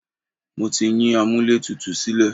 Mo ti yín amúlẹ̀tutù sílẹ̀.